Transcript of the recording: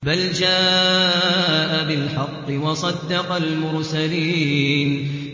بَلْ جَاءَ بِالْحَقِّ وَصَدَّقَ الْمُرْسَلِينَ